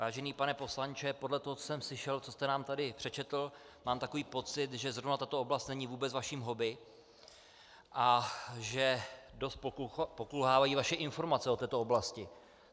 Vážený pane poslanče, podle toho, co jsem slyšel, co jste nám tady přečetl, mám takový pocit, že zrovna tato oblast není vůbec vaším hobby a že dost pokulhávají vaše informace o této oblasti.